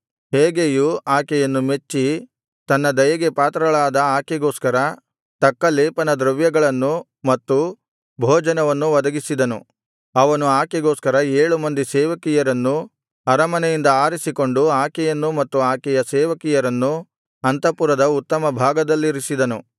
ಹೇಗೈಯು ಆಕೆಯನ್ನು ಮೆಚ್ಚಿ ತನ್ನ ದಯೆಗೆ ಪಾತ್ರಳಾದ ಆಕೆಗೋಸ್ಕರ ತಕ್ಕ ಲೇಪನದ್ರವ್ಯಗಳನ್ನೂ ಮತ್ತು ಭೋಜನವನ್ನು ಒದಗಿಸಿದನು ಅವನು ಆಕೆಗೊಸ್ಕರ ಏಳು ಮಂದಿ ಸೇವಕಿಯರನ್ನೂ ಅರಮನೆಯಿಂದ ಆರಿಸಿಕೊಂಡು ಆಕೆಯನ್ನೂ ಮತ್ತು ಆಕೆಯ ಸೇವಕಿಯರನ್ನೂ ಅಂತಃಪುರದ ಉತ್ತಮ ಭಾಗದಲ್ಲಿರಿಸಿದನು